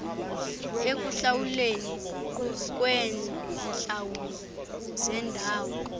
ekuhlawulweni kweentlawulo zendawo